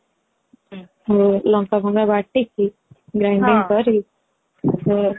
ହଁ ଲଙ୍କା ଫାଙ୍କା ବତିକି grinding କରି ସେ